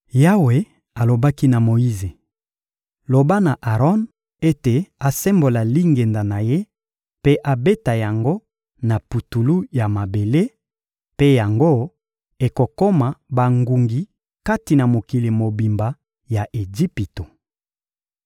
Yawe alobaki na Moyize: — Loba na Aron ete asembola lingenda na ye mpe abeta yango na putulu ya mabele; mpe yango ekokoma bangungi kati na mokili mobimba ya Ejipito.